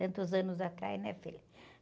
Tantos anos atrás, né, filho?